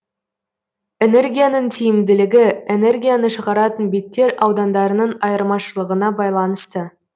энергияның тиімділігі энергияны шығаратын беттер аудандарының айырмашылығына байланысты